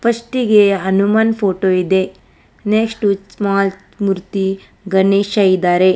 First ಇಗೆ Hanuman photo ಇದೆ next small ಮೂರ್ತಿ ಗಣೇಶ ಇದ್ದಾರೆ.